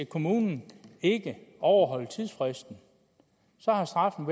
kommunen ikke overholdt tidsfristen var straffen